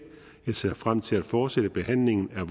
jeg ser frem til at fortsætte behandlingen